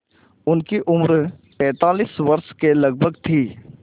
उनकी उम्र पैंतालीस वर्ष के लगभग थी